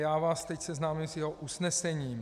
Já vás teď seznámím s jeho usnesením.